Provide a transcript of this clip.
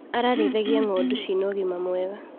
Ararĩithagia ngondu cina ũgima mwega.